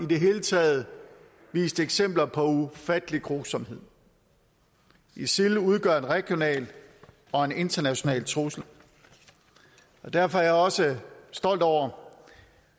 det hele taget vist eksempler på ufattelig grusomhed isil udgør en regional og en international trussel derfor er jeg også stolt over